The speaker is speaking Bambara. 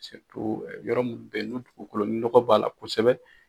yɔrɔ munnu be yen ni dugukolo ni nɔgɔ b'a la kosɛbɛ.